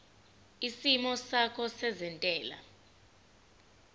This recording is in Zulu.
isimo sakho sezentela